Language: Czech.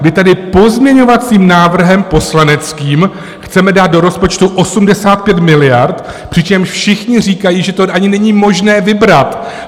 Vy tady pozměňovacím návrhem poslaneckým chcete dát do rozpočtu 85 miliard, přičemž všichni říkají, že to ani není možné vybrat.